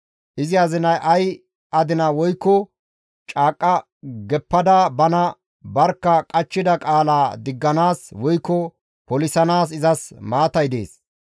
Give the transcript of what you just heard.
Izi azinay ay adina woykko caaqqa geppada bana barkka qachchida qaalaa digganaas woykko polisanaas izas maatay dees.